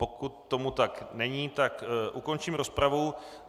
Pokud tomu tak není, tak ukončím rozpravu.